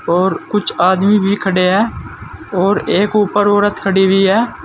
और कुछ आदमी भी खड़े हैं और एक ऊपर औरत खड़ी हुई है।